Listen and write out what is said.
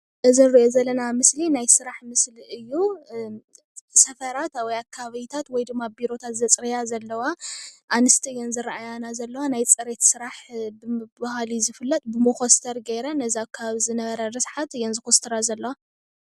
እዚ እንሪኦ ዘለና ምስሊ ናይ ስራሕ ምስሊ እዩ ።ሰፈራት ወይ ኣከባቢታት ወይ ድማ ቢሮታት ዘፅርያ ዘለዋ ኣንስቲ እየን ዝረአያና ዘለዋ ናይ ፅሬት ስራሕ ብምብሃል ዝፍለጥ ብሞኮስተር ገይረን ነዚ ኣከባቢ ዝነበረ ርስሓት እየን ዝኩስትራ ዘለዋ።